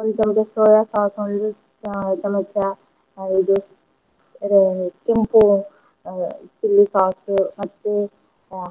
ಒಂದ್ ಚಂಚ soya sauce ಒಂದು ಚ~ ಚಮಚ ಹ ಇದು ಇದ್ ಕೆಂಪು ಅಹ್ chilli sauce ಮತ್ತೆ